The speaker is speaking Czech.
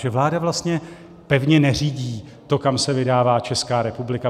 Že vláda vlastně pevně neřídí to, kam se vydává Česká republika?